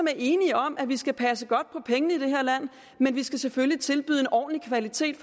er enige om at vi skal passe godt på pengene i det her land men vi skal selvfølgelig tilbyde en ordentlig kvalitet